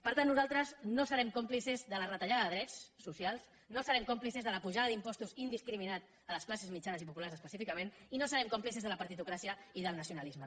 per tant nosaltres no serem còmplices de la retallada de drets socials no serem còmplices de la pujada d’impostos indiscriminada a les classes mitjanes i populars específicament i no serem còmplices de la partitocràcia i del nacionalisme